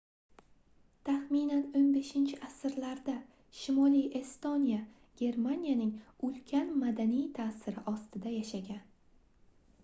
taxminan 15-asrlarda shimoliy estoniya germaniyaning ulkan madaniy taʼsiri ostida yashagan